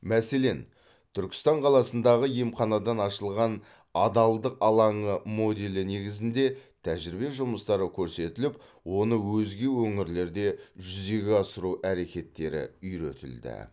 мәселен түркістан қаласындағы емханадан ашылған адалдық алаңы моделі негізінде тәжірибе жұмыстары көрсетіліп оны өзге өңірлерде жүзеге асыру әрекеттері үйретілді